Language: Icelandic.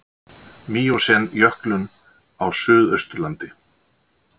Míósen jöklun á Suðausturlandi.